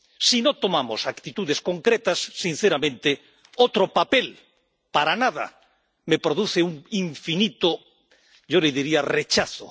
Si no tomamos actitudes concretas, sinceramente, otro papel para nada me produce un infinito —yo le diría― rechazo.